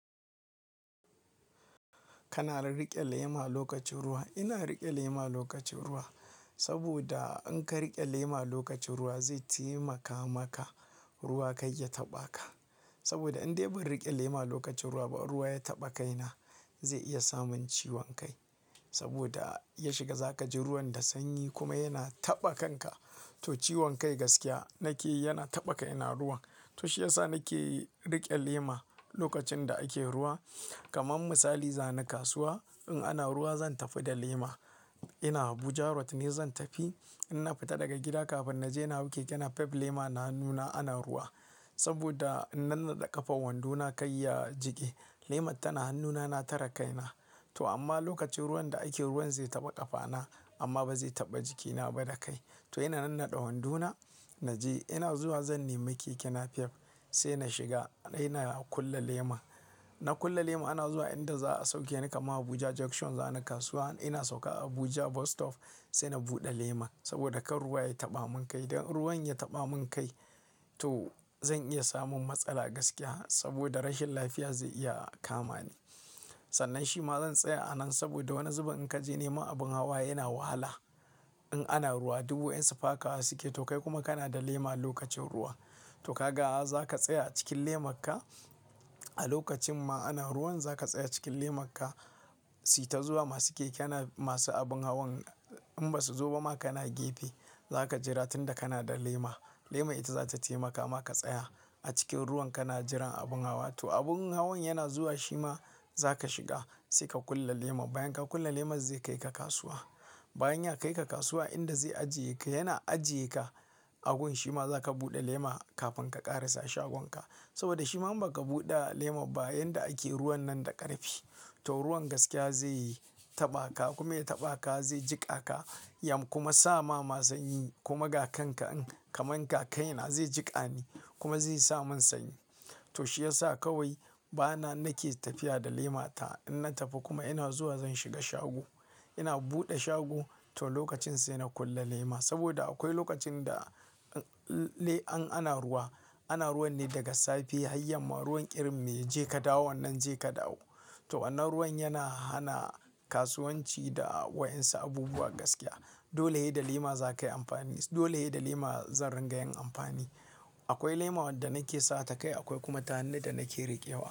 Kana rirriƙe lema lokacin ruwa. Ina riƙe lema lokacin ruwa saboda in ka riƙe lema lokacin ruwa zai taimaka maka ruwa kai ya taɓa ka. Saboda in dai ban riƙe lema lokacin ruwa ba ruwa ya taɓa kaina. Zai iya samin ciwon kai saboda ya shiga za ka ji ruwan da sanyi kuma yana taɓa kanka. To ciwon kai gaskiya nakeyi yana taɓa kaina ruwan. To shi ya sa nake riƙe lema lokacin da ake ruwa. Kaman misali zani kasuwa in ana ruwa zan tafi da lema. Ina Abuja road ne zan tafi. Inna fita daga gida kafin na je na hau keke napep lema na hannu na ruwa. Saboda in nannaɗe ƙafan wandona kai ya jige. Lemar tana hannuna na tare kaina. To amma lokacin ruwan da ake ruwan zai taɓa ƙafana amma ba zai taɓa jikina ba da kai. To ina nannaɗe wandona naje ina zuwa zan nemi keke napep sai na shiga ina kula lema. Na kulle lema ana zuwa inda za a sauke ni kaman Abuja junction za ni kasuwa. Ina sauka a Abuja bus stop sai na buɗe lema saboda kar ruwa ya taɓa mun kai. Dan ruwan ya taɓa mun kai to zan iya samun matsala gaskiya saboda rashin lafiya zai iya kama ni. Sannan shi ma zan tsaya a nan saboda wani zubin in ka je neman abin hawa yana wahala. In ana ruwa du wayansu su fakawa suke to kai kuma kana da lema lokacin ruwa to ka ga zaka tsaya a cikin lemakka. A lokacin ma ana ruwan za ka tsaya cikin lemakka suyi ta zuwa masu keke na-- masu abin hawan in ba su zo ba ma kana gefe. Zaka jira tun da kana da lema. Leman ita za ta taimaka ma ka tsaya a cikin ruwan kana jiran abin hawa. To abin hawan yana zuwa shima za ka shiga sai ka kulle leman bayan ka kulle lemar zai kaika kasuwa. Bayan ya kaika kasuwa inda zai ajiye ka yana ajiye ka agun shima za ka buɗe lema kafin ka ƙarasa shagonka. Saboda shiman ba ka buɗa lema ba yanda ake ruwan nan da ƙarfi to ruwan gaskiya zai taɓa ka kuma ya taɓa ka zai jiƙa ka yam kuma sama, ma sanyi kuma ga kanka kaman ga kaina zai jiƙa ni kuma zai sa mun sanyi. To shi ya sa kawai bana nake tafiya da lema ta. Inna tafi kuma ina zuwa zan shiga shago ina buɗe shago to lokacin sai na kulle lema saboda akwai lokacin da an-an ana ruwa, ana ruwan ne daga safe har yamma. Ruwan ƙirin mai je ka dawo nan je ka dawo. To wannan ruwan yana hana kasuwanci da wa yansu abubuwa gaskiya. Dole ye da lema za ka yi amfani dole ye da lema zan riga yin amfani. Akwai lema wadda nake sa ta kai akwai kuma ta hannu da nake riƙewa.